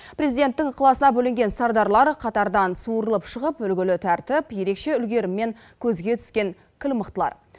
президенттің ықыласына бөленген сардарлар қатардан суырылып шығып үлгілі тәртіп ерекше үлгеріммен көзге түскен кіл мықтылар